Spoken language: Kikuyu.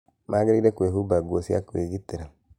Magĩrĩirũo kwĩhumba nguo cia kũgitĩra.